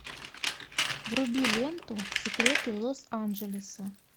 вруби ленту секреты лос анджелеса